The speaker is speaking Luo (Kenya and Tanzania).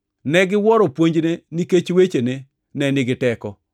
Negiwuoro puonjne, nikech wechene ne nigi teko.